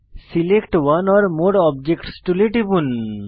select one or more objects টুলে টিপুন